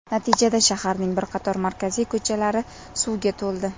Natijada shaharning bir qator markaziy ko‘chalari suvga to‘ldi .